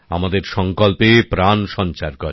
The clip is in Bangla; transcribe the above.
আমাদের সংকল্পে প্রাণ সঞ্চার করে